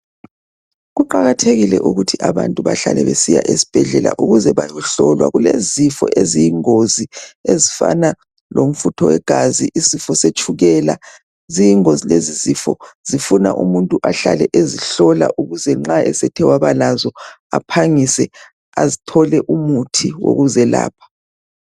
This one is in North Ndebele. Kuqakathekile ukuthi abantu behlale besiya esibhedlela ukuze bayohlolwa kulezifo eziyingozi ezifana lomfutho wegazi isifo setshukela ziyingozi lezi zifo zifuna umuntu ahlale ezihlola ukuze nxa esethe waba lazo aphangise athole umuthi woku zelapha.